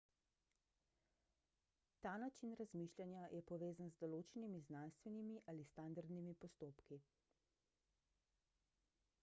ta način razmišljanja je povezan z določenimi znanstvenimi ali standardnimi postopki